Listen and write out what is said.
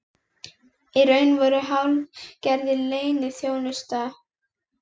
Í raun vorum við hálfgerðir leyniþjónustu